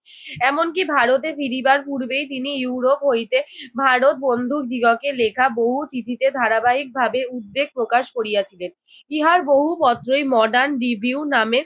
এমনকি ভারতে ফিরিবার পূর্বে তিনি ইউরোপ হইতে ভারত বন্ধুদিগকে লেখা বহু চিঠিতে ধারাবাহিকভাবে উদ্বেগ প্রকাশ করিয়াছিলেন। ইহার বহু পত্রই modern review নামের